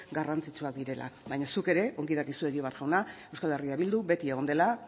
garrantzitsuak baina zuk ere ongi dakizu egibar jauna euskal herria bildu beti egon dela